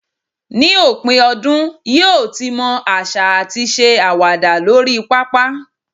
ní ipin ọdún, yíò tí mo asa ati se awada lori papa